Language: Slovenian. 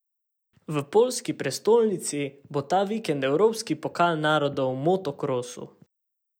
V poljski prestolnici bo ta vikend evropski pokal narodov v motokrosu.